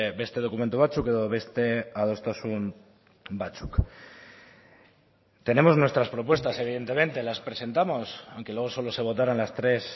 beste dokumentu batzuk edo beste adostasun batzuk tenemos nuestras propuestas evidentemente las presentamos aunque luego solo se votaran las tres